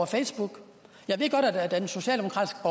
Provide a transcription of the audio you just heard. facebook jeg ved godt at den socialdemokratiske